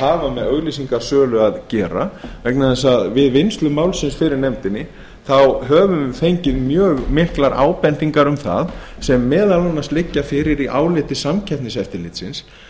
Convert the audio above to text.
hafa með auglýsingasölu að gera vegna þess að við vinnslu málsins fyrir nefndinni höfum við fengið mjög margar ábendingar um það sem meðal annars liggja fyrir í áliti samkeppniseftirlitsins